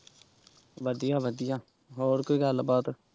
ਵਧੀਆ ਵਧੀਆ ਹੋਰ ਕੋਈ ਗੱਲਬਾਤ।